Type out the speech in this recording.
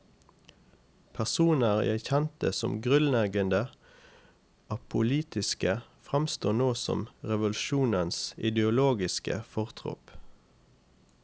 Personer jeg kjente som grunnleggende apolitiske, fremsto nå som revolusjonens ideologiske fortropp.